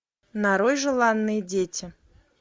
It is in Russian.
нарой желанные дети